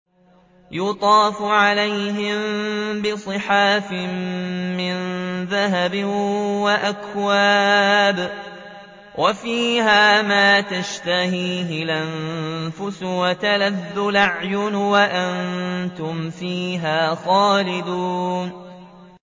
يُطَافُ عَلَيْهِم بِصِحَافٍ مِّن ذَهَبٍ وَأَكْوَابٍ ۖ وَفِيهَا مَا تَشْتَهِيهِ الْأَنفُسُ وَتَلَذُّ الْأَعْيُنُ ۖ وَأَنتُمْ فِيهَا خَالِدُونَ